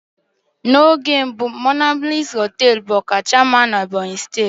Monablis hoteelu bu ọkacha mma na Ebonyi steeti na mbụ.